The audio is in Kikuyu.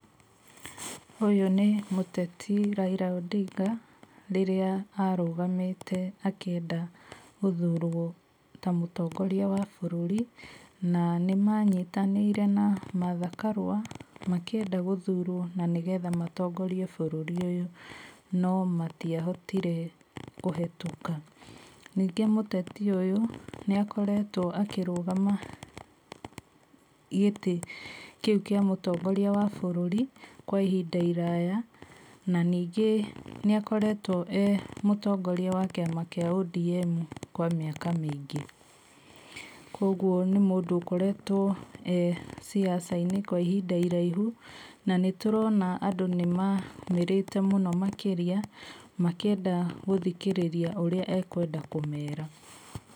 Ũyũ nĩ mũteti Raila Odinga rĩrĩa arũgamĩte akĩenda gũthurwo ta mũtongoria wa bũrũri. Na nĩ manyitanĩire na Martha Karua makĩenda gũthurwo na nĩgetha matongoria bũrũri ũyũ, no matiahotire kũhĩtũka. Ningĩ mũteti ũyũ nĩ akoretwo akĩrũgama gĩtĩ kĩu kĩa mũtongoria wa bũrũri kwa ihinda iraya. Na ningĩ nĩ akoretwo e mũtongoria wa kĩama kĩa ODM kwa mĩaka mĩingĩ. Koguo nĩ mũndũ ũkoretwo e mwanasiasa kwa ihinda iraihu. Na nĩ tũrona andũ nĩ maumĩrĩte mũno makĩria makĩenda gũthikĩrĩria ũrĩa ekwenda kũmera.